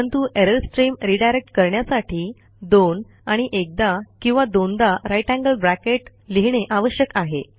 परंतु error stream redirect करण्यासाठी 2 आणि एकदा किंवा दोनदा ग्रेटर थान साइन लिहिणे आवश्यक आहे